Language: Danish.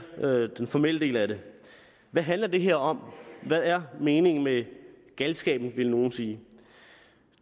den formelle del af det hvad handler det her om hvad er meningen med galskaben ville nogle sige